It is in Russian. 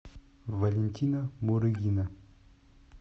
валентина мурыгина